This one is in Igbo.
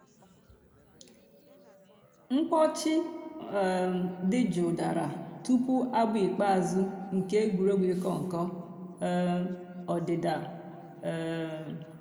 mkpọ̀chì um dì jụụ̀ dàrā túpù àbụ̀ ikpeazụ̀ nke ègwè́régwụ̀ ị̀kọ̀ nkọ̀ um òdídà. um